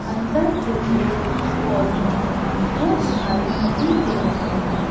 अंदर जो पेड़ पौधे हैं वो दिखाई नहीं दे रहे हैं।